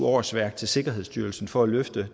årsværk til sikkerhedsstyrelsen for at løfte